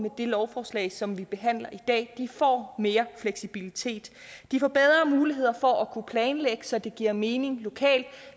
det lovforslag som vi behandler i dag de får mere fleksibilitet de får bedre muligheder for at kunne planlægge så det giver mening lokalt